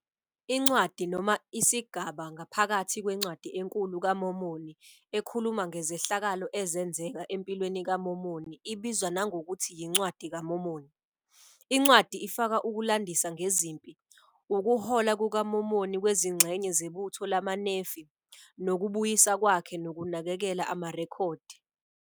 Incwadi noma isigaba ngaphakathi kweNcwadi enkulu kaMormoni ekhuluma ngezehlakalo ezenzeka empilweni kaMormoni ibizwa nangokuthi yiNcwadi kaMormoni. Incwadi ifaka ukulandisa ngezimpi, ukuhola kukaMormon kwezingxenye zebutho lamaNefi, nokubuyisa kwakhe nokunakekela amarekhodi.